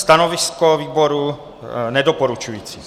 Stanovisko výboru nedoporučující.